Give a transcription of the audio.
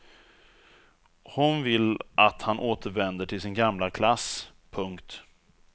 Hon vill att han återvänder till sin gamla klass. punkt